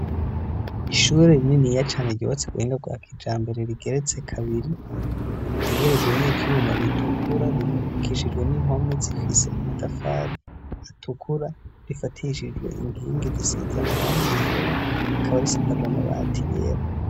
ishuri rininiya cane ryubatse mu buhinga bwa kijambere rigeretse kabiri ,ritegerejwe n'ivyuma bitukura ryubakishijwe n'impome zifise amadafari atukura ,rifatishijwe inkingi zisize amarangi yera, rikaba risakajwe amabati yera.